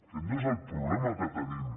aquest no és el problema que tenim